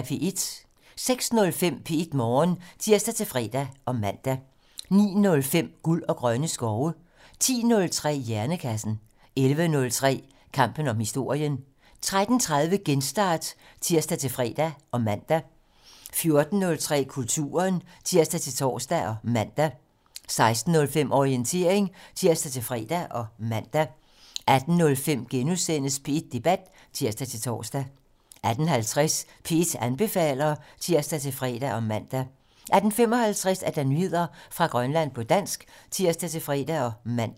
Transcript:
06:05: P1 Morgen (tir-fre og man) 09:05: Guld og grønne skove 10:03: Hjernekassen 11:03: Kampen om historien 13:30: Genstart (tir-fre og man) 14:03: Kulturen (tir-tor og man) 16:05: Orientering (tir-fre og man) 18:05: P1 Debat *(tir-tor) 18:50: P1 anbefaler (tir-fre og man) 18:55: Nyheder fra Grønland på dansk (tir-fre og man)